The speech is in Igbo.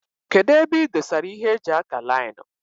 Kedụ ebe ị dosara ịhe eji ákà laịnu.